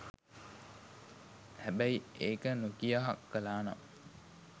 හැබැයි ඒක නොකියා කලා නම්